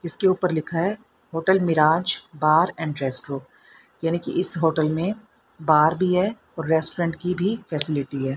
इसके ऊपर लिखा है hotel Miraj bar and restro यानी कि इस होटल में बार भी है और रेस्टोरेंट की भी फैसिलिटी है।